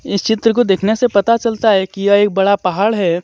इस चित्र को देखने से पता चलता है कि यह एक बड़ा पहाड़ है।